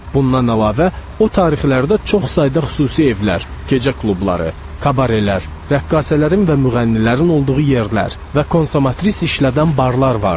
Bundan əlavə, o tarixlərdə çox sayda xüsusi evlər, gecə klubları, kabarellər, rəqqasələrin və müğənnilərin olduğu yerlər və konsomatris işlədən barlar vardı.